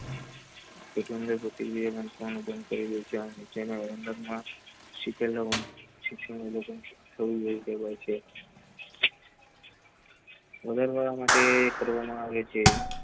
કરે ત્યાં શિક્ષણ બોલે તો , બોલરવાળા માટે કરવા માં આવે છે.